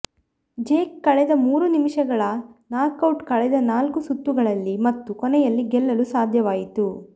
Jake ಕಳೆದ ಮೂರು ನಿಮಿಷಗಳ ನಾಕ್ಔಟ್ ಕಳೆದ ನಾಲ್ಕು ಸುತ್ತುಗಳಲ್ಲಿ ಮತ್ತು ಕೊನೆಯಲ್ಲಿ ಗೆಲ್ಲಲು ಸಾಧ್ಯವಾಯಿತು